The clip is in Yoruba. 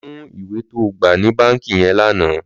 Lò mú iwé tó gbá ni bànkí yèn lànã